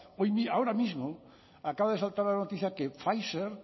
ahora mismo acaba de saltar la noticia que pfizer